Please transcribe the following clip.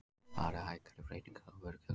Farið hægar í breytingar á vörugjöldum